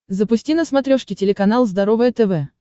запусти на смотрешке телеканал здоровое тв